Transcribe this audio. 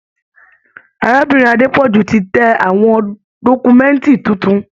Arábìnrin Adepoju ti tẹ àwọn dọkumẹ̀nti títún.